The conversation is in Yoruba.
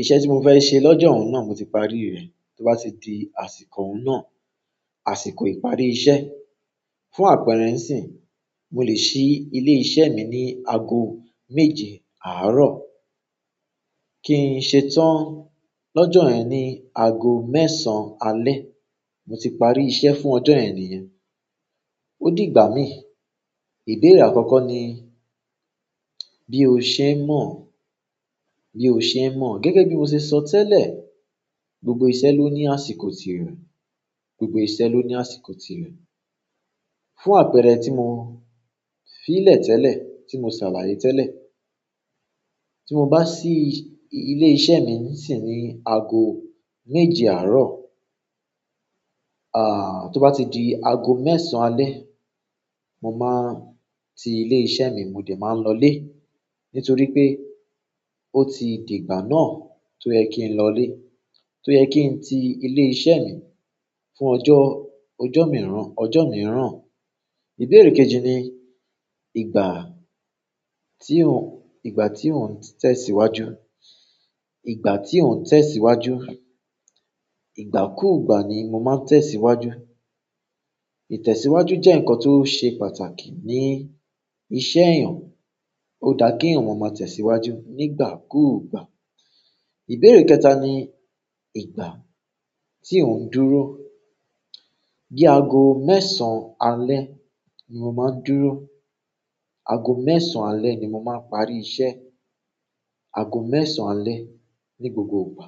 Iṣẹ́ tí mo fẹ́ ṣe lọ́jọ́ ọ̀hun náà mo ti parí rẹ̀. Tó bá ti di àsìkò ọ̀hun náà, àsìkò ìparí iṣẹ́. Fún àpẹẹrẹ ńsìn, mo lè ṣí ilé iṣẹ́ mi ní ago méje àárọ̀ kí n ṣetán lọ́jọ́ yen ni, ago mẹ́sàn-án alẹ́. Mo ti parí iṣẹ́ fún ọjọ́ ẹni èèyàn. Ó di ìgbà mi. Ìbéèrè akoko ni, ni o se n mo? Gẹ́gẹ́ bi mo se so tele, gbogbo iṣẹ́ loni. Fún àpẹẹrẹ tí mo fi ílẹ̀ tẹ́lẹ̀, tí mo ṣàlàyé tẹ́lẹ̀. Tí mo bá ṣí ilé iṣẹ́ mi ńsìn ní ago méje àárọ̀, àáà, tó bá ti di ago mẹ́sàn-án alẹ́, mo máa ti ilé iṣẹ́ mi mo dẹ̀ máa lọlé. Nítorí pé ó ti di ìgbà náà tó yẹ kí n lọlé, tó yẹ kí n ti ilé iṣẹ́ mi fún ọjọ́, ọjọ́ mìíràn, ọjọ́ mìíràn. Ìbéèrè kejì ni ìgbà tí ó ń, ìgbà tí ó ń tẹ̀síwájú, ìgbà tí ó ń tẹ̀síwájú. Igbakugba ni mo maa n tẹ̀síwájú. Ìtẹ̀síwájú jẹ́ ǹkan tó ṣe pàtàkì ní iṣẹ́ èèyàn. Ó dá kí èèyàn maa máa tẹ̀síwájú nígbàkigbà. Ìbéèrè kẹta ni ìgbà tí ó ń dúró. Bí ago mẹ́sàn-án alẹ́ ni mo máa ń dúró, ago mẹ́sàn-án alẹ́ ni mo máa parí iṣẹ́, ago mẹ́sàn-án alẹ́ ní gbogbo ìgbà.